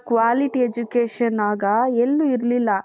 quality education ಆಗ ಎಲ್ಲಿ ಇರ್ಲಿಲ್ಲಾ?